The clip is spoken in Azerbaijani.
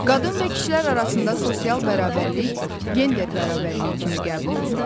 Qadın və kişilər arasında sosial bərabərlik gender bərabərliyi kimi qəbul olunur.